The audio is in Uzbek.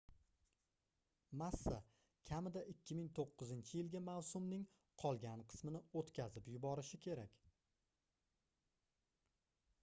massa kamida 2009-yilgi mavsumning qolgan qismini oʻtkazib yuborishi kerak